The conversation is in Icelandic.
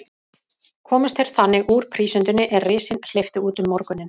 Komust þeir þannig úr prísundinni, er risinn hleypti út um morguninn.